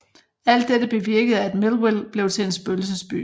Alt dette bevirkede at Millville blev til en spøgelsesby